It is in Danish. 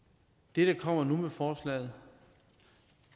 det der kommer nu med forslaget